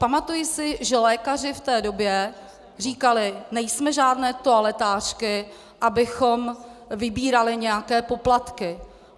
Pamatuji si, že lékaři v té době říkali: Nejsme žádné toaletářky, abychom vybírali nějaké poplatky.